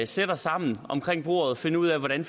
sætte os sammen omkring bordet og finde ud af hvordan